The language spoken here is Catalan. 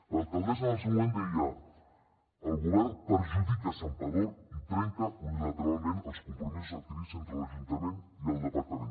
l’alcaldessa en el seu moment deia el govern perjudica santpedor i trenca unilateralment els compromisos adquirits entre l’ajuntament i el departament